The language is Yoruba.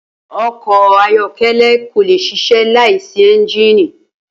O̩kò̩ ayó̩ké̩lé̩ kò lè s̩is̩é̩ láì sí é̩ńjìnì